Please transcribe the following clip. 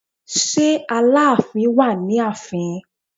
Ṣé Aláàfin wà ní ààfin?